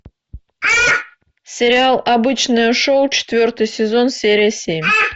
сериал обычное шоу четвертый сезон серия семь